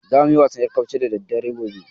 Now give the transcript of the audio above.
Zamu yi wasan ƴarcarafke gobe da daddare.